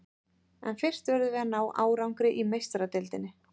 En fyrst verðum við að ná árangri í Meistaradeildinni.